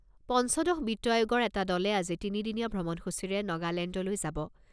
পঞ্চদশ বিত্ত আয়োগৰ এটা দলে আজি তিনিদিনীয়া ভ্ৰমণসূচীৰে নগালেণ্ডলৈ যাব।